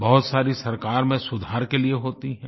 बहुत सारी सरकार में सुधार के लिए होती हैं